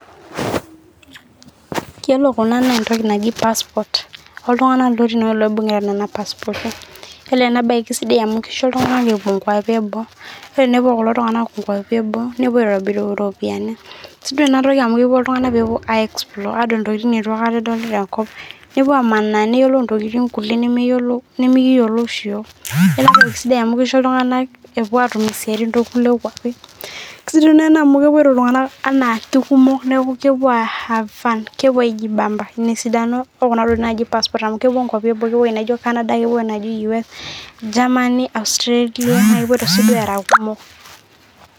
woore kunaa naa entoki naji passporrt oltunganak kesidai amu kisho iltung'anak meshomo nkuapi eboo nakiko iltung'anak meshomo adool intokiting' nimikiyiolo yiok neaku entoki sidai amu kisho iltunganak meshomoita atuum isiaitin tekule kuapi kasidai enaa amu kepuoito iltunganak enaake kumok amu kepuo aihave fun ina esidano ee pasport amukepuo nkuapi naijio canada kepuo UK, Germany, Australia na kepuoito sii eraa kumok